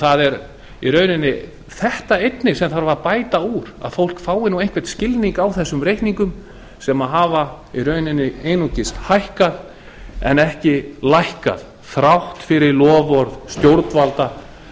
það er þetta í rauninni sem þarf að bæta úr að fólk fái einhvern skilning á þessum reikningum sem hafa í rauninni einungis hækkað en ekki lækkað þrátt fyrir loforð stjórnvalda